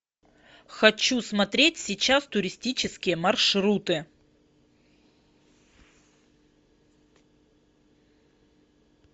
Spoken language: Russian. хочу смотреть сейчас туристические маршруты